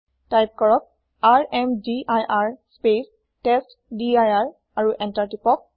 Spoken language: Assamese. তাইপ কৰক ৰ্মদিৰ স্পেচ টেষ্টডিৰ আৰু এন্তাৰ টিপক